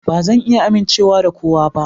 Ba zan iya amincewa da kowa ba.